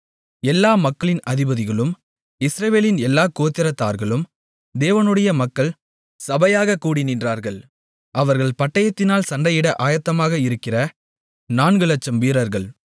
எல்லா மக்களின் அதிபதிகளும் இஸ்ரவேலின் எல்லா கோத்திரத்தார்களும் தேவனுடைய மக்கள் சபையாகக் கூடி நின்றார்கள் அவர்கள் பட்டயத்தினால் சண்டையிட ஆயத்தமாக இருக்கிற 400000 வீரர்கள்